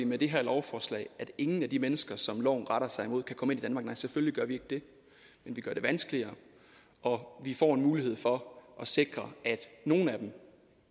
med det her lovforslag at ingen af de mennesker som loven retter sig mod kan komme ind i danmark selvfølgelig gør vi ikke det men vi gør det vanskeligere og vi får en mulighed for at sikre at nogle af dem